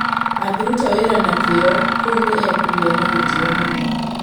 angĩruta wĩra na kĩyo kuũ nĩ ekũgĩa na gĩtĩo mũno